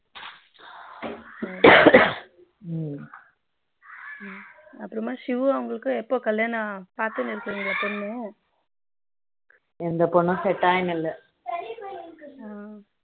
அப்புறமா சிவு அவங்களுக்கு எப்போ கல்யாணம் பாத்துட்டு இருக்கீங்களா பொண்ணு எந்த பொண்ணு set ஆகினு இல்ல